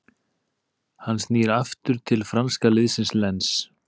Hann snýr nú aftur til franska liðsins Lens.